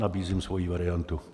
Nabízím svoji variantu.